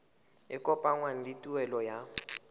e kopanngwang le tuelo ya